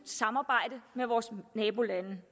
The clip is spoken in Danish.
samarbejde med vores nabolande